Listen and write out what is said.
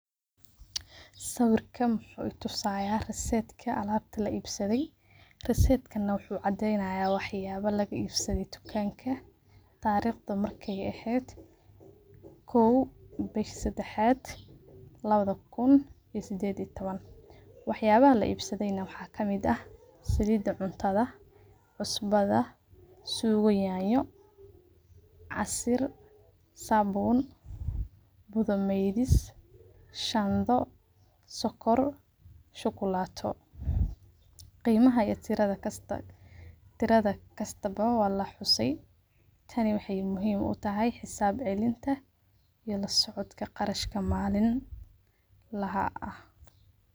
Sawirkan wuxu itusaya resetki alabti laibsade resetkan wuxu cadeynaya waxyaba lagaibsade tudanka tariqda markey eheed bishi sadexad lawada kuun lawo iyo tawan. Waxayalaha laibsade waxa kamid ah salid cuntada cusbada sugo yanyo casiir sabun budho meydis shando sokor shukulato, qimaha iyo tiro kasta walaxuse tani wexey muhiim utahay xisab celinta iyo lasocodka qarashka malinlaha ah.